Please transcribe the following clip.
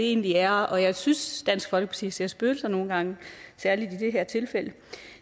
egentlig er og jeg synes at dansk folkeparti ser spøgelser nogle gange særligt i det her tilfælde